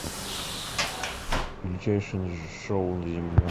величайшее шоу на земле